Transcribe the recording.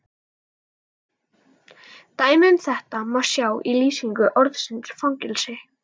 Dæmi um þetta má sjá í lýsingu orðsins fangelsi: